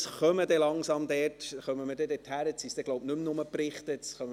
Nun kommen wir langsam dorthin, wo es tatsächlich auch Debatten geben könnte.